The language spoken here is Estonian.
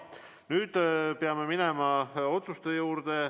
Nüüd peame minema otsuste juurde.